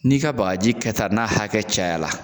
N'i ka baaji ka taa n'a hakɛ caya la